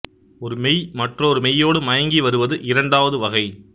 ஒரு மெய் மற்றொரு மெய்யொடு மயங்கி வருவது இரண்டாவது வகை